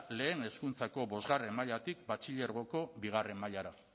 lehen hezkuntzako bostgarrena mailatik batxilergoko bigarrena mailara